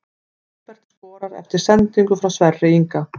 Hólmbert skorar eftir sendingu frá Sverri Inga!